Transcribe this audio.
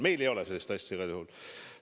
Meil ei ole sellist asja igal juhul.